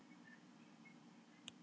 Þeir lifa mest á birkifræi.